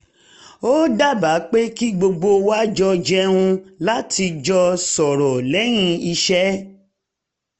ó dábàá pé kí gbogbo wa jọ jẹun láti jọ sọ̀rọ̀ lẹ́yìn iṣẹ́